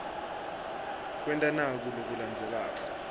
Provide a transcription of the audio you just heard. kwenta naku lokulandzelako